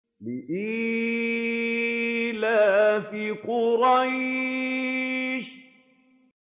لِإِيلَافِ قُرَيْشٍ